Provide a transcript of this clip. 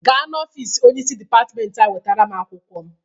Gaa n'ofisi onyeisi dịpatịmentị anyị wetara m akwụkwọ!